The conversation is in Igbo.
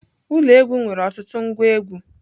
Ụlọ egwu nwere ọtụtụ ngwa egwu.